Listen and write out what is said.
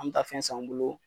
An bɛ taa fɛn san u bolo